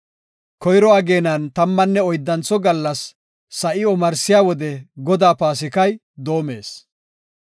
Koyro ageenan tammanne oyddantho gallas sa7i omarsiya wode Godaa Paasikay doomees.